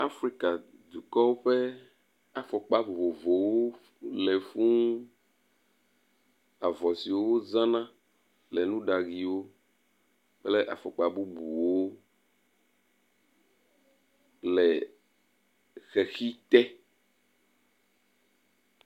Afrika dukɔ ƒe afɔkpa vovovowo le fuũ, avɔ si wo zãna le nuɖaɣiwo kple afɔkpa bubuwo le xexi te.